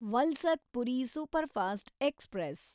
Valsad Puri superfast express